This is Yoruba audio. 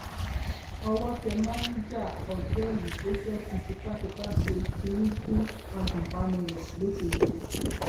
owó tẹ máníjà òtẹẹlì tó fẹẹ fi tipátipá ṣe kínní fún agùnbánirò lọṣọgbó